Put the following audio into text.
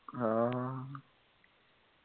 অ